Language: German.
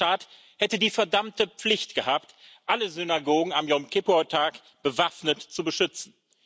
Der deutsche Staat hätte die verdammte Pflicht gehabt, alle Synagogen am Jom Kippur Tag bewaffnet zu beschützen!